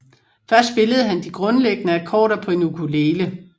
Først spillede han de grundlæggende akkorder på en ukulele